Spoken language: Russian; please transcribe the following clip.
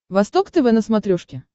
восток тв на смотрешке